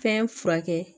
Fɛn furakɛ